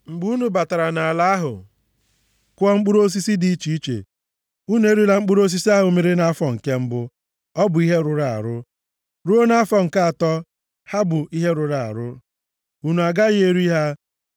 “ ‘Mgbe unu batara nʼala ahụ kụọ mkpụrụ osisi dị iche iche, unu erila mkpụrụ osisi ahụ mịrị nʼafọ nke mbụ, ọ bụ ihe rụrụ arụ. Ruo nʼafọ nke atọ, ha bụ ihe rụrụ arụ. Unu agaghị eri ha.